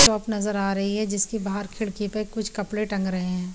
Shop नज़र आ रही है जिसके बाहर खिड़की पे कुछ कपडे टंग रहे है ।